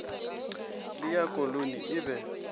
le ya koloni e be